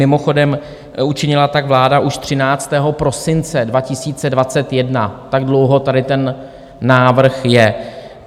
Mimochodem, učinila tak vláda už 13. prosince 2021, tak dlouho tady ten návrh je.